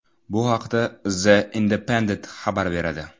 Bu haqda The Independent xabar beradi .